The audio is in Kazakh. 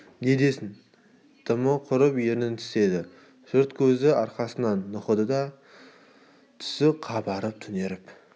не десін дымы құрып ернін тістеді жұрт көзі арқасынан нұқыды түсі қабарып түнеріп